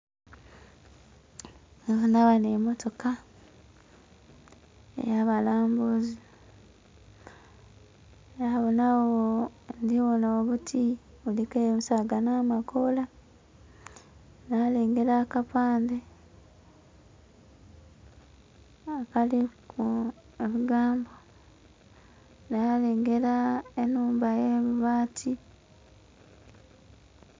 Ndhibona ghano emotoka eya balambuzi nabonha ghoo.., ndhi bonha obuti buliku ensaga nhamakoola nhalengela aka pandhe akiliku ebigambo nha lengela enhumba ya mabati.